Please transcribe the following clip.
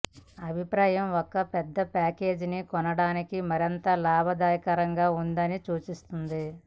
అభిప్రాయం ఒక పెద్ద ప్యాకేజీని కొనడానికి మరింత లాభదాయకంగా ఉందని సూచిస్తుంది